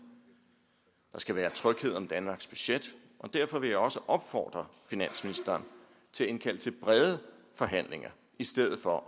der skal være tryghed om danmarks budget og derfor vil jeg også opfordre finansministeren til at indkalde til brede forhandlinger i stedet for at